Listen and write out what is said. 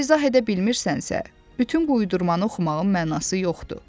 Əgər izah edə bilmirsənsə, bütün uydurmanı oxumağın mənası yoxdur.